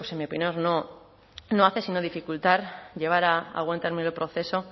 mi opinión no hace sino dificultar llevar a buen término el proceso